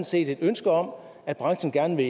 set et ønske om at branchen gerne